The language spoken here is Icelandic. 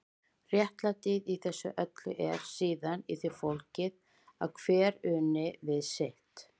Réttlætið í þessu öllu er síðan í því fólgið að hver uni við sitt.